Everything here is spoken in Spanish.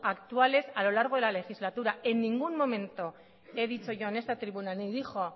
actuales a lo largo de la legislatura en ningún momento he dicho yo en esta tribuna ni dijo